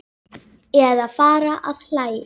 Eða fara að hlæja.